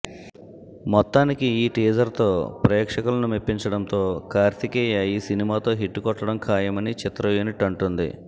మొత్తానికి ఈ టీజర్తో ప్రేక్షకులను మెప్పించడంతో కార్తికేయ ఈ సినిమాతో హిట్ కొట్టడం ఖాయమని చిత్ర యూనిట్ అంటోంది